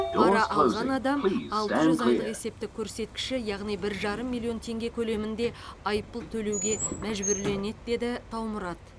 пара алған адам алты жүз айлық есептік көрсеткіші яғни бір жарым миллион теңге көлемінде айыппұл төлеуге мәжбүрленеді деді таумұрат